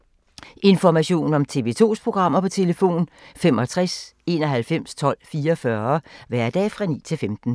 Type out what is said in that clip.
Information om TV 2's programmer: 65 91 12 44, hverdage 9-15.